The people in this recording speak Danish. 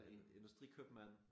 Industrikøbmand